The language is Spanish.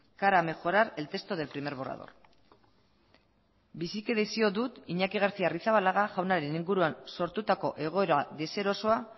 cara a mejorar el texto del primer borrador biziki desio dut iñaki garcia arrizabalaga jaunaren inguruan sortutako egoera deserosoa